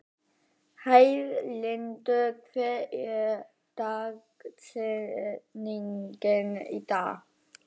Heiðlindur, hver er dagsetningin í dag?